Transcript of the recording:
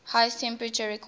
highest temperature recorded